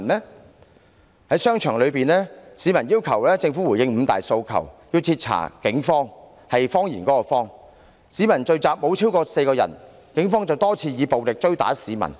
市民在商場內要求政府回應五大訴求，徹查"警謊"，有關的聚集雖沒有超過4個人，但警方卻多次以暴力追打市民。